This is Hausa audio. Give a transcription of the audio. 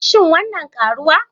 Shin wannan karuwa?